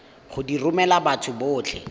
go di romela batho botlhe